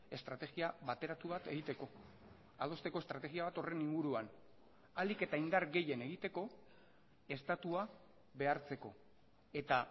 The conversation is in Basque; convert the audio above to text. estrategia bateratu bat egiteko adosteko estrategia bat horren inguruan ahalik eta indar gehien egiteko estatua behartzeko eta